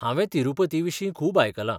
हांवें तिरूपतीविशीं खूब आयकलां.